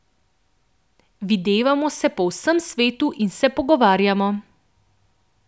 Videvamo se po vsem svetu in se pogovarjamo.